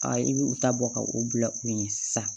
Aa i bi u ta bɔ ka u bila u ɲɛ sisan